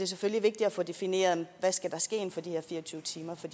selvfølgelig vigtigt at få defineret hvad der skal ske inden for de her fire og tyve timer for